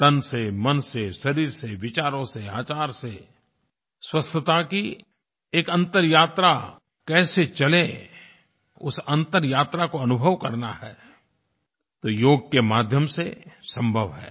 तन से मन से शरीर से विचारों से आचार से स्वस्थता की एक अंतर्यात्रा कैसे चले उस अंतर्यात्रा को अनुभव करना है तो योग के माध्यम से संभव है